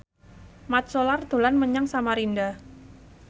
Mat Solar dolan menyang Samarinda